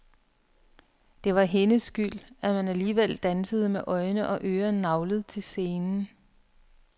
Det var hendes skyld, at man alligevel dansede med øjne og ører naglet til scenen.